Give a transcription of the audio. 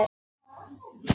Svona í lokin.